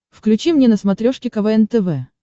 включи мне на смотрешке квн тв